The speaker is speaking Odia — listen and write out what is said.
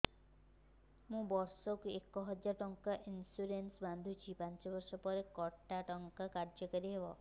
ମୁ ବର୍ଷ କୁ ଏକ ହଜାରେ ଟଙ୍କା ଇନ୍ସୁରେନ୍ସ ବାନ୍ଧୁଛି ପାଞ୍ଚ ବର୍ଷ ପରେ କଟା ଟଙ୍କା କାର୍ଯ୍ୟ କାରି ହେବ